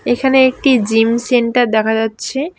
এইখানে একটি gym centre দেখা যাচ্ছে।